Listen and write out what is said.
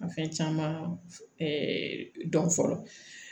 Fɛn caman dɔn fɔlɔ